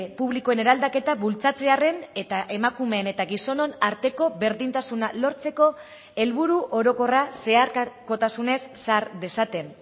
publikoen eraldaketa bultzatzearren eta emakumeen eta gizonon arteko berdintasuna lortzeko helburu orokorra zeharkakotasunez sar dezaten